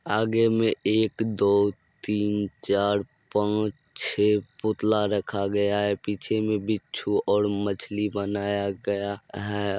आगे में एक दो तीन चार पांच छे पुतला रखा गया है। पीछे में बिच्छू और मछली बनाया गया है।